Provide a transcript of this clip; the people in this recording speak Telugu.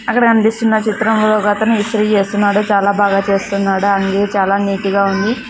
అక్కడ కనిపిస్తున్న చిత్రంలో ఒక వ్యక్తి ఇస్త్రీ చేస్తున్నాడు చాలా బాగా చేస్తున్నాడు అన్ని చాలా నీట్ గా ఉంది.